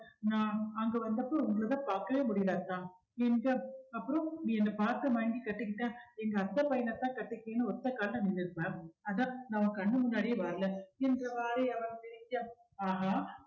நான் அங்கு வந்தப்போ உங்களதா பார்க்கவே முடியல அத்தான் என்க அப்புறம் நீ என்ன பார்த்து மயங்கி கட்டிக்கிட்ட எங்க அத்தை பையனைத்தான் கட்டிக்கின்னு ஒத்த கால்ல நின்னு இருப்ப அதான் நான் உன் கண்ணு முன்னாடியே வரல என்றவாரு அவன் சிரிக்க ஆஹா